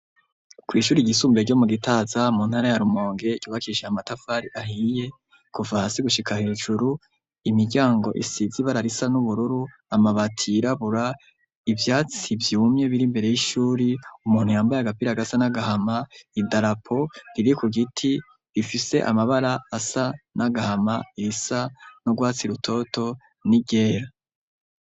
Kw'ishure ry'isumbuye ryo mu gitaza mu ntara ya rumonge ryubakishijwe amatafari ahiye kuva hasi gushika hejuru imiryango isize ibara risa n'ubururu, amabati yirabura, ivyatsi vyumye biri mbere y'ishuri umuntu yambaye agapira gasa n'agahama idarapo riri ku giti rifise amabara asa n'agahama, irisa n'ugwatsi rutoto n'iryera.